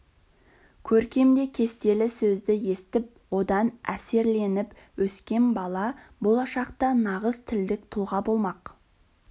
көркем де кестелі сөзді естіп одан әсерленіп өскен бала болашақта нағыз тілдік тұлға болмақ